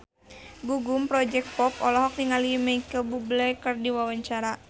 Gugum Project Pop olohok ningali Micheal Bubble keur diwawancara